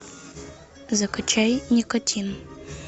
закачай никотин